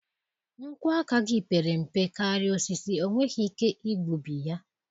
Nkwọ aka gị pere mpe karịa osisi, ọ nweghị ike igbubi ya.